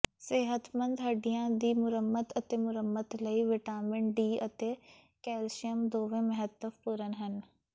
ਸਿਹਤਮੰਦ ਹੱਡੀਆਂ ਦੀ ਮੁਰੰਮਤ ਅਤੇ ਮੁਰੰਮਤ ਲਈ ਵਿਟਾਮਿਨ ਡੀ ਅਤੇ ਕੈਲਸੀਅਮ ਦੋਵੇਂ ਮਹੱਤਵਪੂਰਨ ਹਨ